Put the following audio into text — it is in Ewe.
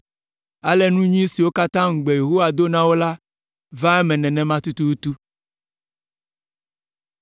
Ale nu nyui siwo katã ŋugbe Yehowa do na wo la va eme nenema tututu.